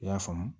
I y'a faamu